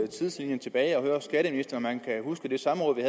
tidslinjen tilbage og høre skatteministeren om han kan huske det samråd